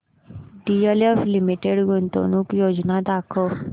DLF limited गुंतवणूक योजना दाखव